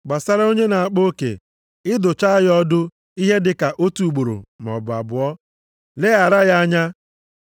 Gbasara onye na-akpa oke, ị dụchaa ya ọdụ ihe dịka otu ugboro maọbụ abụọ, leghara ya anya.